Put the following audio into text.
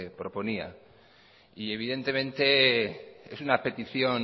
proponía y evidentemente es una petición